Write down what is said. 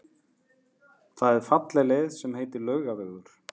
Það er falleg leið sem heitir Laugavegur.